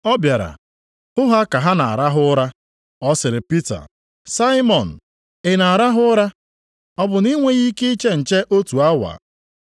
Ọ bịara hụ ha ka ha na-arahụ ụra. Ọ sịrị Pita, “Saimọn, ị na-arahụ ụra? Ọ bụ na ị nweghị ike iche nche otu awa?